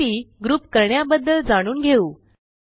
माहिती ग्रुप करण्याबद्दल जाणून घेऊ